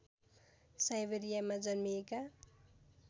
साइबेरियामा जन्मिएका